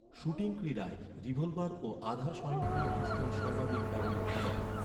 Shooting ক্রীড়ায় revolver ও আধা স্বয়ংক্রিয় পিস্তল সর্বাধিক ব্যবহৃত হয়।